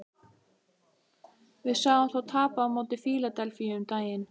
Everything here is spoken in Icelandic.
Við sáum þá tapa á móti Fíladelfíu um daginn.